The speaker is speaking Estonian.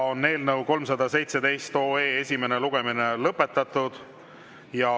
Eelnõu 317 esimene lugemine on lõpetatud.